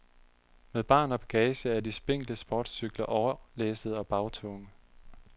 Med barn og bagage er de spinkle sportscykler overlæssede og bagtunge.